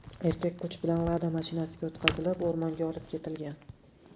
Erkak kuch bilan Lada mashinasiga o‘tqazilib o‘rmonga olib ketilgan.